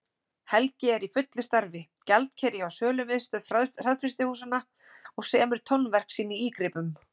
Helgi er í fullu starfi, gjaldkeri hjá Sölumiðstöð hraðfrystihúsanna, og semur tónverk sín í ígripum.